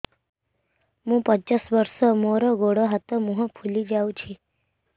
ମୁ ପଚାଶ ବର୍ଷ ମୋର ଗୋଡ ହାତ ମୁହଁ ଫୁଲି ଯାଉଛି